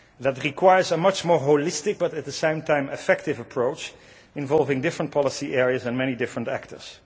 That requires a much more holistic but at the same time effective approach involving different policy areas and many different actors.